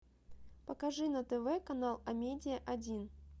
покажи на тв канал амедиа один